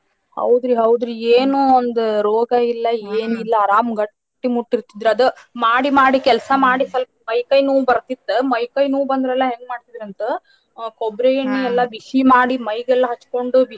ಹೌದ್ರಿ ಹೌದ್ರೀ ಏನೋ ಒಂದ್ ರೋಗ ಇಲ್ಲ ಏನಿಲ್ಲ ಆರಾಮ್ ಗಟ್ಟಿ ಮುಟ್ಟ್ ಇರ್ತಿದ್ರ ಅದ ಮಾಡಿ ಮಾಡಿ ಕೆಲ್ಸಾಮಾಡಿ ಸ್ವಲ್ಪ ಮೈ ಕೈ ನೋವ್ ಬರ್ತಿತ್ತ ಮೈ ಕೈ ನೋವ್ ಬಂದ್ರ ಎಲ್ಲಾ ಹೆಂಗ ಮಾಡ್ತಿದ್ರಂತ ಕೊಬ್ಬರಿ ಎಣ್ಣಿ ಎಲ್ಲಾ ಬಿಸಿ ಮಾಡಿ ಮೈಗೆಲ್ಲಾ ಹಚ್ಚಕೊಂಡು.